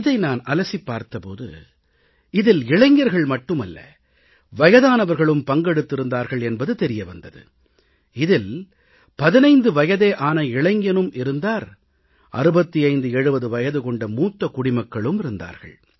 இதை நான் அலசிப் பார்த்த போது இதில் இளைஞர்கள் மட்டுமல்ல வயதானவர்களும் பங்கெடுத்திருந்தார்கள் என்பது தெரிய வந்தது இதில் 15 வயதே ஆன இளைஞனும் இருந்தார் 6570 வயது கொண்ட மூத்த குடிமக்களும் இருந்தார்கள்